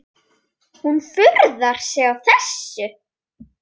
Hún furðar sig á þessu.